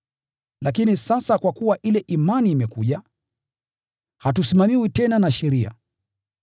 Lakini sasa kwa kuwa ile imani imekuja, hatusimamiwi tena na sheria.